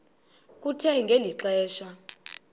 kuthe ngeli xesha